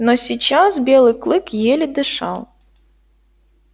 но сейчас белый клык еле дышал